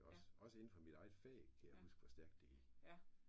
Også også inde for mit eget fag kan jeg huske hvor stærkt det gik